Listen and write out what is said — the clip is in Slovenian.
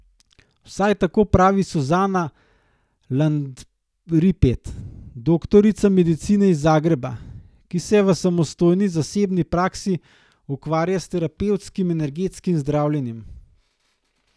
Vsaj tako pravi Suzana Landripet, doktorica medicine iz Zagreba, ki se v samostojni zasebni praksi ukvarja s terapevtskim energetskim zdravljenjem.